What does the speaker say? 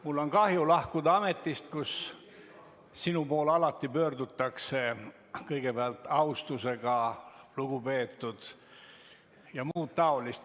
Mul on kahju lahkuda ametist, kus sinu poole alati pöördutakse kõigepealt sõnadega "austatud", "lugupeetud" ja muud taolist.